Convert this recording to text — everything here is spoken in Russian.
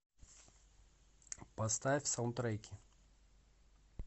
поставь саундтреки